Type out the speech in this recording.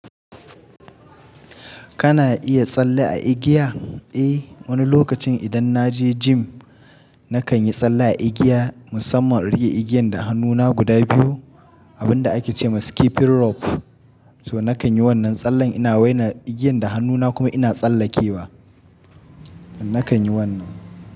Kana iya tsalle a igiya? Eh, wani lokacin idan na je gym nakan yi tsalle a igiya musamman rike igiyan da hannuna guda biyu abun da ake ce ma skipping rope. To nakan yi wannan tsallen ina waina igiyan da hannuna kuma ina tsallakewa. Nakan yi wannan.